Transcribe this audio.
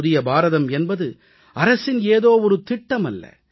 புதிய பாரதம் என்பது அரசின் ஏதோ திட்டமல்ல